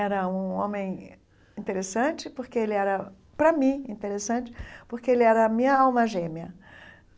Era um homem interessante, porque ele era para mim interessante, porque ele era a minha alma gêmea.